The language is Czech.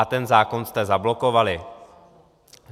A ten zákon jste zablokovali.